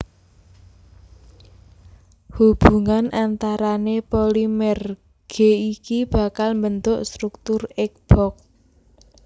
Hubungan antarane polimer G iki bakal mbentuk struktur egg box